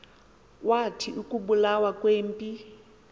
kwathi ukubulawa kwempi